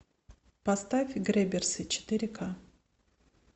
поставь грэбберсы четыре ка